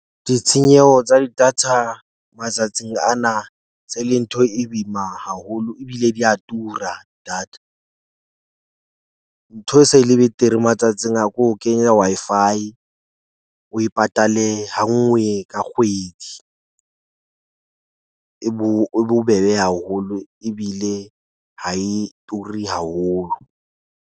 Ditshenyeho tsa di-data matsatsing ana tse e leng ntho e boima haholo ebile di ya tura. Data ntho e se e le betere matsatsing a ko kenya Wi-Fi, o e patale ha nngwe ka kgwedi. E bo e bobebe haholo ebile ha e turi haholo.